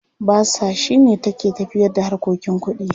Basa shi ne take tafiyarda harkokin kuɗi.